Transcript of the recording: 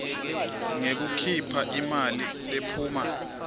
ngekukhipha imali lephuma